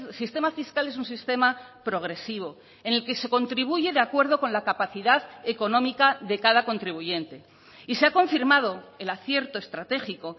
sistema fiscal es un sistema progresivo en el que se contribuye de acuerdo con la capacidad económica de cada contribuyente y se ha confirmado el acierto estratégico